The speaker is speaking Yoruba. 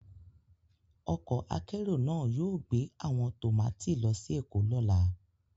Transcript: Ọkọ akérò náà yóò gbé àwọn tọ́màtí lọ sí Èkó lọ́la